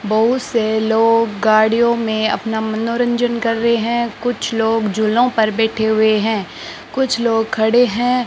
बहुत से लोग गाड़ियों में अपना मनोरंजन कर रहे हैं कुछ लोग झूलों में बैठे हुए हैं कुछ लोग खड़े हैं।